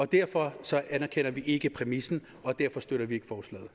derfor anerkender vi ikke præmissen og derfor støtter vi